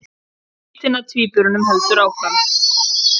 Leitin að tvíburunum heldur áfram